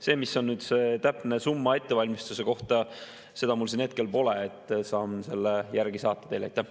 Seda, mis on see täpne summa ettevalmistuse kohta, mul siin hetkel pole, saan selle teile hiljem saata.